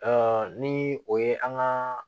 ni o ye an ka